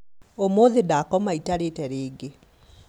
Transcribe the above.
ũmũthĩ ndakoma itarĩte rĩngĩ